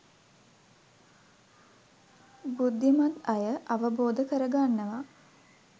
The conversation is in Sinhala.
බුද්ධිමත් අය අවබෝධ කරගන්නවා